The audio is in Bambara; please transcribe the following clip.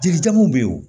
Jelijamun bɛ yen wo